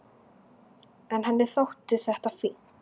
En henni þótti þetta fínt.